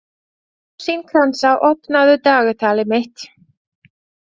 Rósinkransa, opnaðu dagatalið mitt.